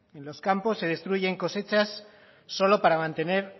en los campos se destruyen cosechas solo para mantener